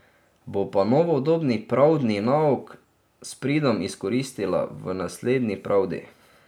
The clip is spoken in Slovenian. Bo pa novodobni pravdni nauk s pridom izkoristila v naslednji pravdi.